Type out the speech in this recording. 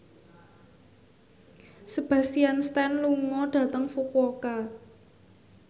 Sebastian Stan lunga dhateng Fukuoka